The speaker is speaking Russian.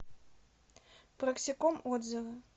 проксиком отзывы